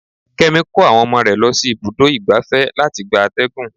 Kémi kó àwọn ọmọ rẹ lọ sí ibùdó igbàfẹ́ láti gba àtẹ̀gùn.